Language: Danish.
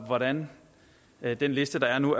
hvordan er den liste der er nu